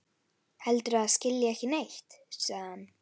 Heldur að það skilji ekki neitt, sagði hann.